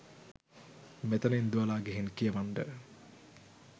මෙතනින් දුවලා ගිහින් කියවන්ඩ.